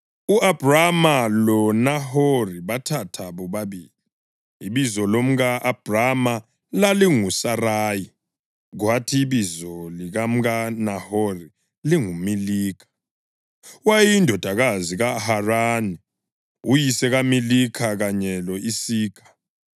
U-Abhrama loNahori bathatha bobabili. Ibizo lomka-Abhrama lalinguSarayi, kwathi ibizo likamkaNahori linguMilikha; wayeyindodakazi kaHarani uyise kaMilikha kanye lo-Isikha.